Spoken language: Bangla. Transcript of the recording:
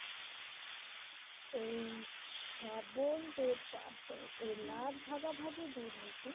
এই ছ্যাবল দের চাপ দেয় এই লাভ ভাগাভাগির দুর্নীতি